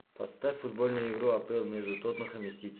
поставь футбольную игру апл между тоттенхэм и сити